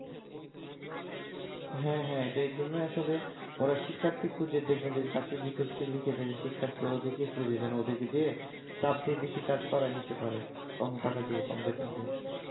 হ্যাঁ হ্যাঁ এটা এই জন্যই আসলে ওরা শিক্ষার্থী খোঁজে দেখবেন যে চাকরির বিজ্ঞপিতে লিখে দেয় শিক্ষার্থী ওদেরকে খোঁজে যেন ওদেরকে যেয়ে চাপ দিয়ে বেশি কাজ করায় নিতে পারে